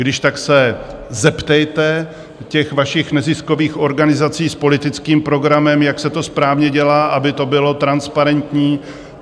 Když tak se zeptejte těch vašich neziskových organizací s politickým programem, jak se to správně dělá, aby to bylo transparentní.